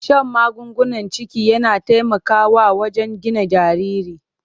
Shan magungunan ciki yana taimakawa wajen gina jariri.